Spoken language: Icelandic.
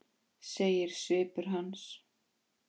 segir svipur hans.